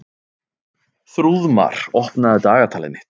Þrúðmar, opnaðu dagatalið mitt.